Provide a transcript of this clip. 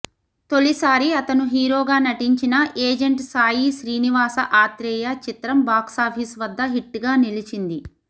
తొలిసారి అతను హీరోగా నటించిన ఏజెంట్ సాయి శ్రీనివాస ఆత్రేయ చిత్రం బాక్సాఫీస్ వద్ద హిట్ గా నిలిచించింది